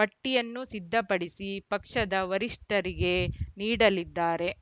ಪಟ್ಟಿಯನ್ನು ಸಿದ್ದಪಡಿಸಿ ಪಕ್ಷದ ವರಿಷ್ಠರಿಗೆ ನೀಡಲಿದ್ದಾರೆ